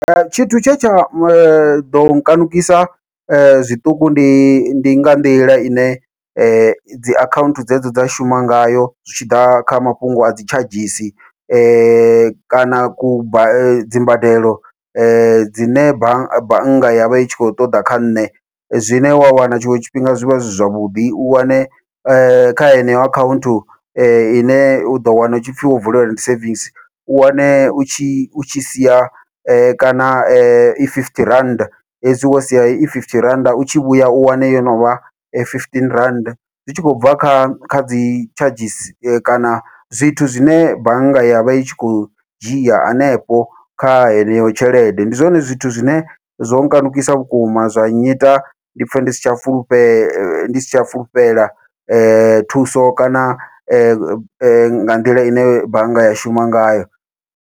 Tshithu tshe tsha ḓo kanukisa zwiṱuku ndi ndi nga nḓila ine dzi akhaunthu dzedzo dza shuma ngayo zwi tshi ḓa kha mafhungo a dzi tshadzhisi, kana ku dzimbadelo dzine bannga bannga yavha i tshi kho ṱoḓa kha nṋe, zwine wa wana tshiṅwe tshifhinga zwi vha zwi zwavhuḓi u wane kha heneyo akhaunthu ine uḓo wana hu tshipfhi wo vulela ndi savings u wane u tshi u tshi sia kana I fifty rand hezwi wo sia i fifty rannda u tshi vhuya u wane yo novha fifteen rannda, zwi tshi khou bva kha kha dzi tshadzhisi kana zwithu zwine bannga yavha i tshi khou dzhia hanefho kha heneyo tshelede. Ndi zwone zwithu zwine zwo kanukisa vhukuma zwa nnyita ndi pfhe ndi si tsha fulufhela ndi si tsha fulufhela thuso kana nga nḓila ine bannga ya shuma ngayo.